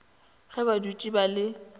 ge ba dutše ba le